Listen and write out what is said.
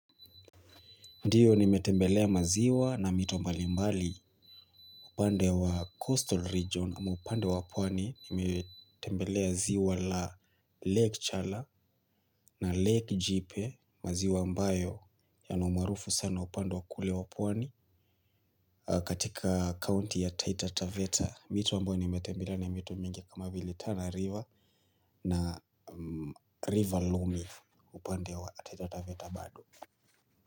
Ndio nimetembelea maziwa na mito mbali mbali upande wa Coastal Region ama upande wa pwani nimetembelea ziwa la Lake Chala na Lake Jipe maziwaa mbayo yana umaarufu sana upande wa kule wa pwani katika county ya Taita Taveta mito ambayo nimetembelea ni mito mingi kama Vile Tana River na River Loomiff upande wa Taita Taveta bado.